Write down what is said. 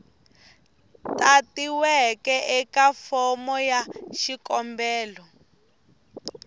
tatiweke eka fomo ya xikombelo